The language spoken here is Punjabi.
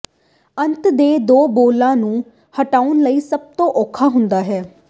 ਅੰਤ ਦੇ ਦੋ ਬੋਲਾਂ ਨੂੰ ਹਟਾਉਣ ਲਈ ਸਭ ਤੋਂ ਔਖਾ ਹੁੰਦਾ ਹੈ